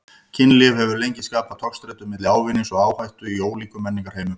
Kynlíf hefur lengi skapað togstreitu milli ávinnings og áhættu í ólíkum menningarheimum.